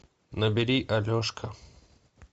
набери алешка